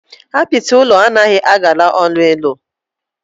Apiti ulọ o nahi agara onu ilu.